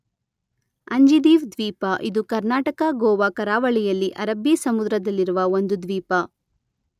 ಅಂಜಿದಿವ್ ದ್ವೀಪ ಇದು ಕರ್ನಾಟಕ-ಗೋವಾ ಕರಾವಳಿಯಲ್ಲಿ ಅರಬ್ಬೀ ಸಮುದ್ರದಲ್ಲಿರುವ ಒಂದು ದ್ವೀಪ.